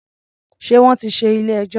Ṣé wọ́n tí ṣí ilé-ẹjọ́?